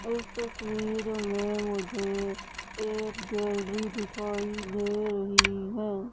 इस तस्वीर में मुझे एक गैलरी दिखाई दे रही है।